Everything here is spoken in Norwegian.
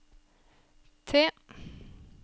T